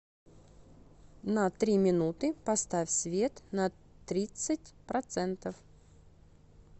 на три минуты поставь свет на тридцать процентов